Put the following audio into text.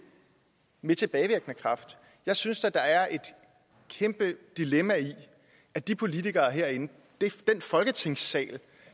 med tilbagevirkende kraft jeg synes da der er et kæmpe dilemma i at de politikere herinde den folketingssal